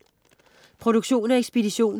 Produktion og ekspedition: